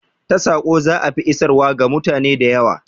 Ta saƙo za'a fi isarwa ga mutane da yawa